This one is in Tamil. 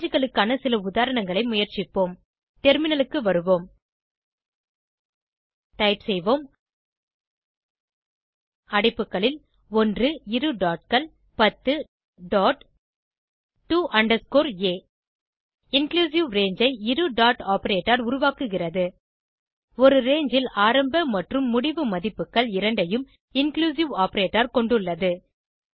rangeகளுக்கான சில உதாரணங்களை முயற்சிப்போம் டெர்மினலுக்கு வருவோம் டைப் செய்வோம் அடைப்புகளில் 1 இரு dotகள் 10 dot to underscore a inclusive range ஐ இரு டாட் ஆப்பரேட்டர் உருவாக்குகிறது ஒரு ரங்கே ல் ஆரம்ப மற்றும் முடிவு மதிப்புகள் இரண்டையும் இன்க்ளூசிவ் ஆப்பரேட்டர் கொண்டுள்ளது